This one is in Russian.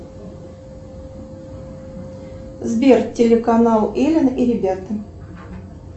сбер телеканал элен и ребята